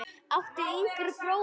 áttu yngri bróður?